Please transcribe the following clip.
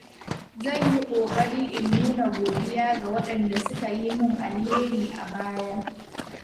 Zan yi ƙoƙari in nuna godiya ga waɗanda suka yi min alheri a baya.